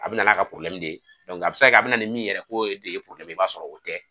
A bɛ na n'a ka de ye, a bɛ se ka kɛ a bɛ na ni min yɛrɛ k'o e de ye i b'a sɔrɔ o tɛ